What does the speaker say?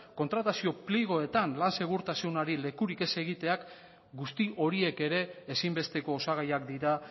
kontratazio pliegoetan lan segurtasunari lekurik ez egiteak guzti horiek ere ezinbesteko osagaiak dira